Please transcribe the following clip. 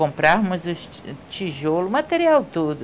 Comprávamos os ti tijolo, o material todo.